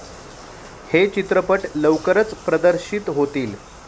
हे चित्रपट लवकरच प्रदर्शित होतील.